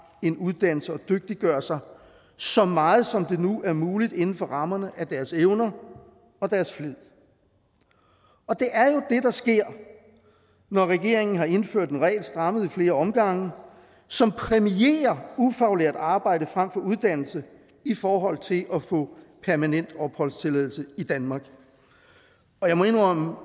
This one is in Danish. en uddannelse og dygtiggør sig så meget som det nu er muligt inden for rammerne af deres evner og deres flid og det er jo det der sker når regeringen har indført en regel strammet i flere omgange som præmierer ufaglært arbejde frem for uddannelse i forhold til at få permanent opholdstilladelse i danmark jeg må indrømme